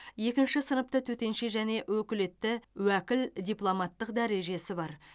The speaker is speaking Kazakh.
екінші сыныпты төтенше және өкілетті уәкіл дипломаттық дәрежесі бар